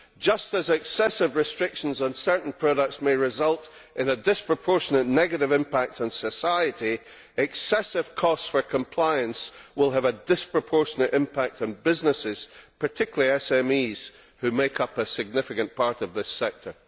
Just as excessive restrictions on certain products may result in a disproportionate negative impact on society, excessive costs of compliance will have a disproportionate impact on businesses, and particularly on SMEs, which make up a significant part of this sector.